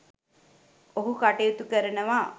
ඔහු කටයුතු කරනවා.